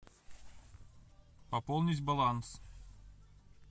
пополнить баланс